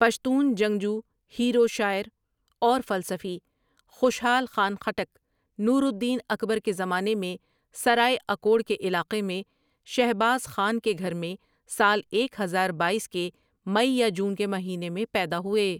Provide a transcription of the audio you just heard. پشتون جنگجو ہیرو شاعر اور فلسفی خوشحال خان خٹک نور الدین اکبر کے زمانے میں سرائے اکوڑ کے علاقے میں شھباز خان کے گھر میں سال ایک ہزار بایس کے مئی یا جون کے مہینے میں پیدا ہوئے ۔